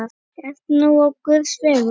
Ert nú á guðs vegum.